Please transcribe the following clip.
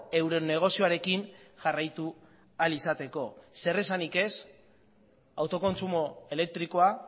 euren negozioarekin jarraitu ahal izateko zer esanik ez autokontsumo elektrikoa